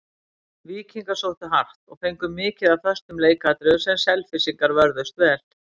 Víkingar sóttu hart, og fengu mikið af föstum leikatriðum sem Selfyssingar vörðust vel.